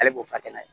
Ale b'o fa kɛnɛ ye